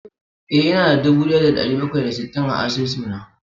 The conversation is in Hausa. Eh, ina da dubu daya da dari bakwai da sittin a asusuna